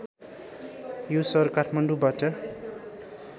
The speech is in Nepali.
यो सहर काठमाडौँबाट